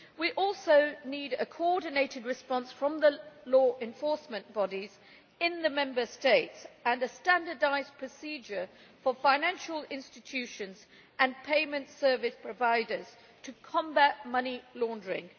We also need a coordinated response from the law enforcement bodies in the Member States and a standardised procedure for financial institutions and payment service providers to combat money laundering.